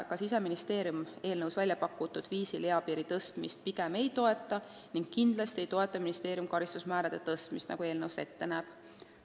Ka Siseministeerium eelnõus välja pakutud viisil eapiiri tõstmist pigem ei toeta ning kindlasti ei toeta ministeerium karistusmäärade tõstmist, nagu eelnõu seda ette näeb.